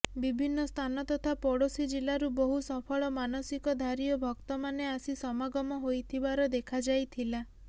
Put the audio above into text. ବିଭିନ୍ନ ସ୍ଥାନ ତଥା ପଡୋଶି ଜିଲା୍ଲରୁ ବହୁ ସଫଳ ମାନସିକଧାରି ଓ ଭକ୍ତମାନେ ଆସିସମାଗମ ହୋଇଥିବାର ଦେଖାଯାଇଥିଲା